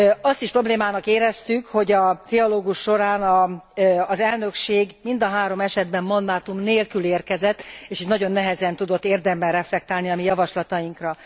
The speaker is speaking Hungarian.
Azt is problémának éreztük, hogy a trialógus során az elnökség mind a három esetben mandátum nélkül érkezett és így nagyon nehezen tudott érdemben reflektálni a mi javaslatainkra.